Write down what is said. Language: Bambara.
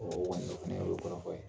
Ɔ o kɔni, an ye olu kɔrɔfɔ yan.